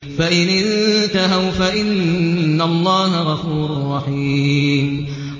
فَإِنِ انتَهَوْا فَإِنَّ اللَّهَ غَفُورٌ رَّحِيمٌ